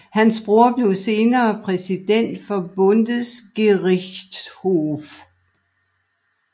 Hans bror blev senere præsident for Bundesgerichtshof